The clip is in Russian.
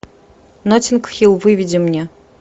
ноттинг хилл выведи мне